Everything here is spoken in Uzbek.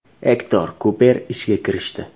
Ektor Kuper ishga kirishdi.